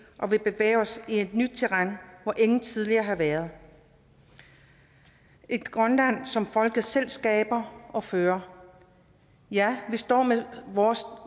og vi bevæger os i et nyt terræn hvor ingen tidligere har været et grønland som folket selv skaber og fører ja vi står med vores